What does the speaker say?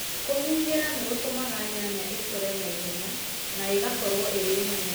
kũhũrũra nĩgũtũmaga nyanya ĩkũre naĩhenya na ĩgakorũo ĩrĩ nene